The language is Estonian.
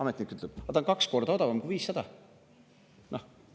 Ametnik ütleb, aga ta on kaks korda odavam kui 500 miljonit eurot.